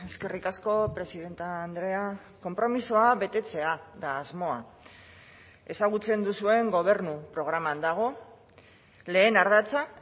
eskerrik asko presidente andrea konpromisoa betetzea da asmoa ezagutzen duzuen gobernu programan dago lehen ardatza